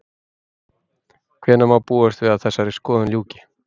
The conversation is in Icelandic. Hvenær má búast við að þessari skoðun ljúki?